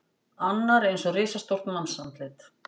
Annar eins og risastórt mannsandlit.